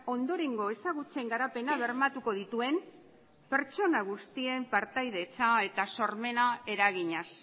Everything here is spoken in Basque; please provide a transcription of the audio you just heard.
ondorengo ezagutzen garapena bermatuko dituen pertsona guztien partaidetza eta sormena eraginez